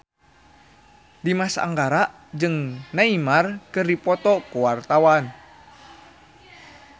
Dimas Anggara jeung Neymar keur dipoto ku wartawan